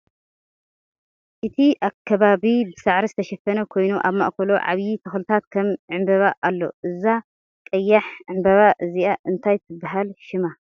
እቲ ከባበቢ ብሳዕሪ ዝተሸፈነ ኮይኑ ኣብ ማእከሉ ዓብይ ተክልታት ከም ዕምበባ ኣሎ ። እዛ ቀያሕ ዕምበባ እዚኣ እንታይ ትበሃል ሽማ ?